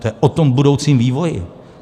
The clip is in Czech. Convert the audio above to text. To je o tom budoucím vývoji.